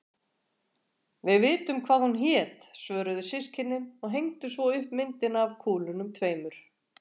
Við vitum hvað hún hét, svöruðu systkinin og hengdu svo upp myndina af kúlunum tveimur.